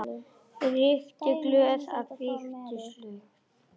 Reykti glöð, át fitug slög.